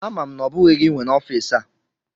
Ama m na ọ bụghị gị nwe n'ọfịs a.